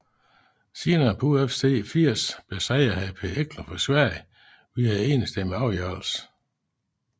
Senere på UFC 80 besejrede han Per Eklund fra Sverige via enstemmig afgørelse